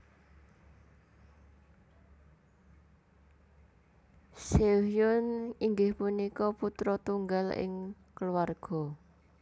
Seohyoen inggih punika putra tunggal ing keluarga